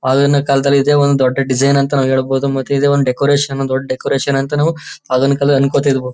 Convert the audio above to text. ಆಗಿನ ಕಾಲದಲ್ಲಿ ಇದೆ ಒಂದು ದೊಡ್ಡ ಡಿಸೈನ್ ಅಂತ ನಾವು ಹೇಳಬಹುದು ಮತ್ತೆ ಇದೆ ಒಂದು ಡೆಕೋರೇಷನ್ ದೊಡ್ಡ ಡೆಕೋರೇಷನ್ ಅಂತ ನಾವು ಆಗಿನ ಕಾಲದಲ್ಲಿ ಅನ್ಕೋತಿದ್ವು.